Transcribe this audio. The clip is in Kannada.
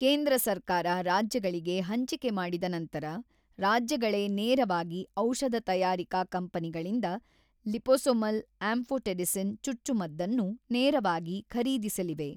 ಕೇಂದ್ರ ಸರ್ಕಾರ ರಾಜ್ಯಗಳಿಗೆ ಹಂಚಿಕೆ ಮಾಡಿದ ನಂತರ, ರಾಜ್ಯಗಳೇ ನೇರವಾಗಿ ಔಷಧ ತಯಾರಿಕಾ ಕಂಪನಿಗಳಿಂದ ಲಿಪೊಸೊಮಲ್ ಆಂಫೊಟೆರಿಸಿನ್ ಚಚ್ಚುಮದ್ದನ್ನು ನೇರವಾಗಿ ಖರೀದಿಸಲಿವೆ.